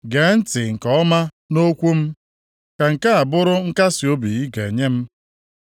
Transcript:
“Gee ntị nke ọma nʼokwu m; ka nke a bụrụ nkasiobi ị ga-enye m.